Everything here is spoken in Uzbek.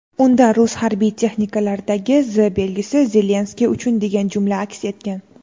Unda rus harbiy texnikalaridagi "Z" belgisi "Zelenskiy uchun" degan jumla aks etgan.